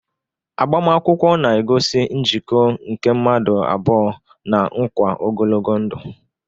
Agbamakwụkwọ na-egosi njikọ nke mmadụ abụọ na nkwa ogologo ndụ.